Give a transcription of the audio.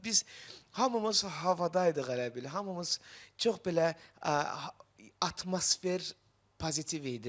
Və biz hamımız havada idiq elə bil, hamımız çox belə atmosfer pozitiv idi.